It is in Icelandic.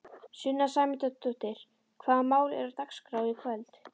Sunna Sæmundsdóttir: Hvaða mál eru á dagskrá í kvöld?